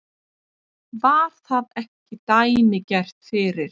Var það ekki dæmigert fyrir